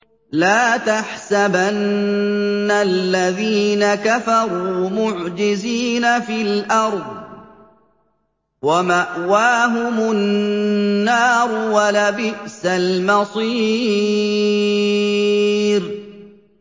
لَا تَحْسَبَنَّ الَّذِينَ كَفَرُوا مُعْجِزِينَ فِي الْأَرْضِ ۚ وَمَأْوَاهُمُ النَّارُ ۖ وَلَبِئْسَ الْمَصِيرُ